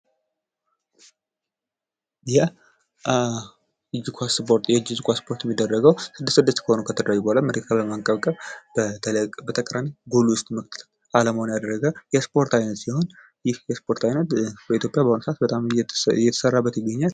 የእጅ ኳስ ስፖርት የእጅ ኳስ ስፖርት የሚደረገው ስድስት ስድስት ሆነው ከተደራጁ በኋላ መሬት ላይ በማንቀርቀብ በተቃራኒ ጎል ውስጥ አላማውን ያደረገ የስፖርት አይነት ሲሆን ይህ የስፖርት አይነት በኢትዮጵያ በአሁኑ ሰዓት በጣም እየተሠራበት ይገኛል።